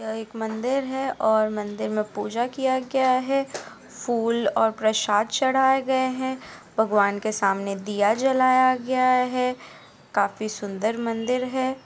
यह एक मंदिर है और मंदिर मे पूजा किया गया है फूल और प्रसाद चढ़ाए गए है भगवान के सामने दिया जलाया गया है काफी सुंदर मंदिर है।